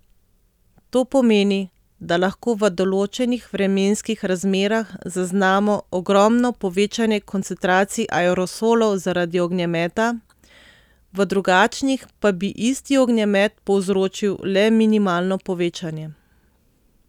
To pomeni, da lahko v določenih vremenskih razmerah zaznamo ogromno povečanje koncentracij aerosolov zaradi ognjemeta, v drugačnih pa bi isti ognjemet povzročil le minimalno povečanje.